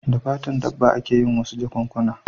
Da fatan dabba a ke yin wasu jakunkuna